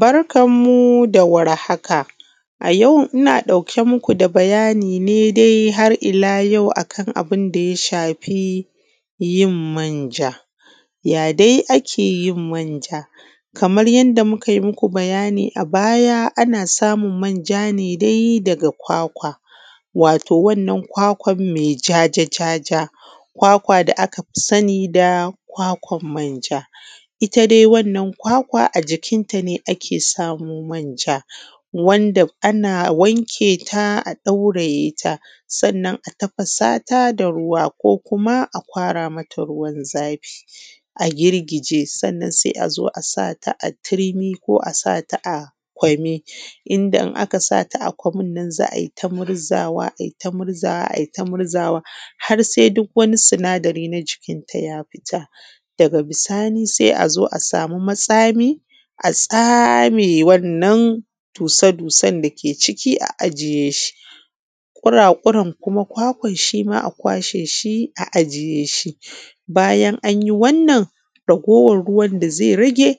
Barkanmu da warhaka a yau ina ɗauke muku da bayani ne dai har ila yau akan abinda ya shafi yin manja. Ya dai ake yin manja? Kamar yadda mukai muku bayani a baya ana samun manja ne dai daga kwakwa, wato wannan kwakwan mai jajaja, kwakwa da aka fi sani da kwakwan manja. Ita dai wannan kwakwa a jikinta ne ake samo manja, wanda ana wanke ta a ɗaureta, sannan a tafasata da ruwa ko kuma a ƙwara mata ruwan zafi a girgije sannan sai a zo a sata a turmi ko ƙwami, inda in aka sata a ƙwami nan za a tai murzawa aita murzata, ai ta murzawa har sai duk wani sinadari na cikinta ya fita, daga bisani sai a zo a samu matsami a tsame wannan sannan a cire dussan dake ciki a ajiye shi kura-kuran kuma kwakwan shi ma a ƙwashe shi a jiye shi, bayan anyi wannan raguwan ruwan da zai rage